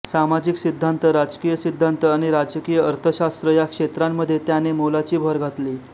सामाजिक सिद्धांत राजकीय सिद्धांत आणि राजकीय अर्थशास्त्र या क्षेत्रांमध्ये त्याने मोलाची भर घातली